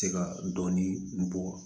Se ka dɔɔnin bɔ